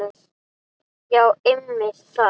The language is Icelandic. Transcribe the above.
Já einmitt það.